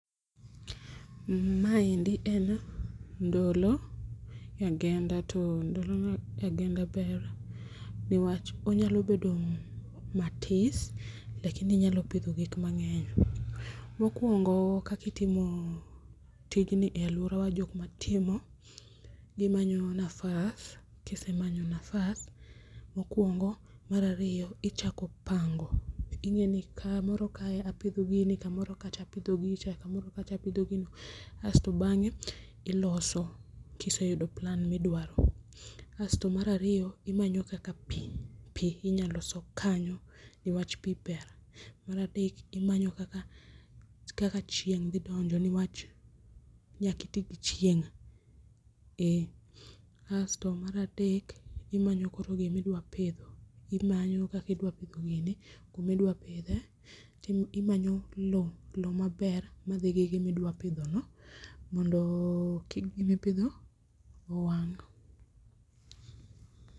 Maendi en ndolo e agenda, to ndolo e agenda ber niwach onyalo bedo matis lakini[s] inyalo pidho gik mangeny. Mokuongo kaka itimo tijni jokma timo, gimanyo nafas, mokuogo, mar ariyo ichako pango ingeni kamoro kae apidho gini, kamoro kacha apidho gicha, kamoro kacha apidho gino asto bange iloso kiseyudo plan midwaro. Asto mar ariyo imanyo kaka pii, pii inya loso kanyo niwach pii ber. Mar adek imanyo kaka chieng dhi donjo niwach nyaka itii gi chieng, eeh. asto mar adek imanyo koro gima idwa pidho, imanyo kaka idwa pidho gini, kuma idwa pidhe ,timanyo loo, loo maber madhi gi gima idwa pidho no mondo kik gima ipidho no owang